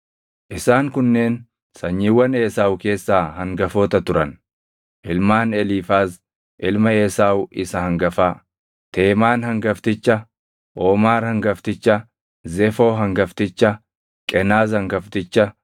Isaan kunneen sanyiiwwan Esaawu keessaa hangafoota turan: Ilmaan Eliifaaz ilma Esaawu isa hangafaa: Teemaan hangafticha, Oomaar hangafticha, Zefoo hangafticha, Qenaz hangafticha,